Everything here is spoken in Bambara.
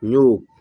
N y'o